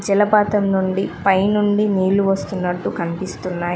జలపాతం నుండి పైనుండి నీళ్ళు వస్తున్నట్లు కనిపిస్తున్నాయి.